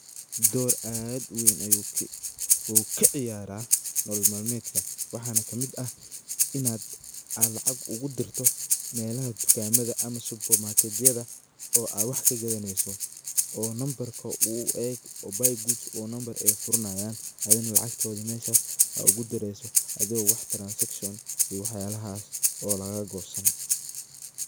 Dor aad u weyn ayu kaciyara nolol maadmedka, waxana kamid ah inaad aa lacag ugu dirto melaha dukamada ama supamaketyada o aa wax kagadaneso oo nambarka uu ayaga oo buy goods o nambar ay furanayan adhigana lacagtoda meshas aad ugu direyso adigo wax transaction iyo wax yalahas oo laga gosanin.